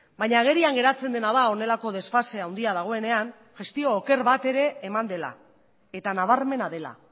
baina agerian geratzen dena da honelako desfase handia dagoenean gestio oker bat ere eman dela eta nabarmena dela